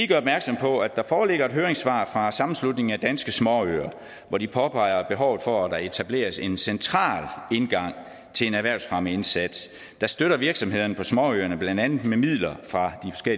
gøre opmærksom på at der foreligger et høringssvar fra sammenslutningen af danske småøer hvor de påpeger behovet for at der etableres en central indgang til en erhvervsfremmeindsats der støtter virksomhederne på småøerne blandt andet med midler fra